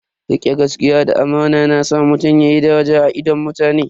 Rikon gaskiya da amana na sa mutum yayi daraja a idon mutane.